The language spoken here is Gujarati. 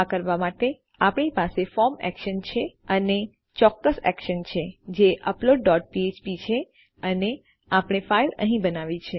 આ કરવા માટે આપણી પાસે ફોર્મ એક્શન છે અને ચોક્કસ એક્શન છે જે અપલોડ ડોટ ફ્ફ્પ છે અને આપણે ફાઈલ અહીં બનાવી છે